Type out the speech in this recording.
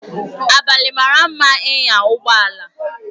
Abalị mara mma ịnya ụgbọ ala